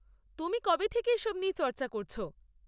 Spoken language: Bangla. তুমি কবে থেকে এসব নিয়ে চর্চা করছ?